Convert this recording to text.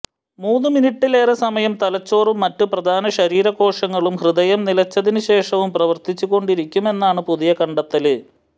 മൂന്ന് മിനിട്ടിലേറെ സമയം തലച്ചോറും മറ്റ് പ്രധാന ശരീര കോശങ്ങളും ഹൃദയം നിലച്ചതിന് ശേഷവും പ്രവര്ത്തിച്ച് കൊണ്ടിരിക്കുമെന്നാണ് പുതിയ കണ്ടെത്തല്